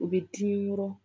U bɛ dimi yɔrɔ